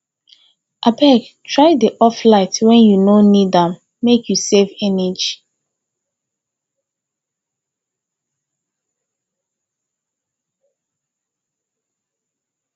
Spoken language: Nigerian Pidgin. abeg try dey off light wen you no need am make you save energy